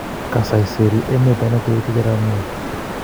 Kisaiseri emet Daniel Toroitich Arap Moi